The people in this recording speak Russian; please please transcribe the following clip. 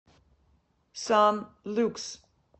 сан люкс